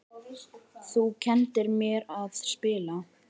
Þú kenndir mér að spila.